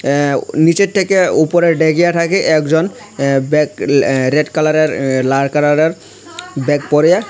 অ্যা নীচের থেকে উপরে ডেগিয়া ঠাকে একজন অ্যা ব্যাগ রেড কালারের লাল কালারের ব্যাগ পরিয়া।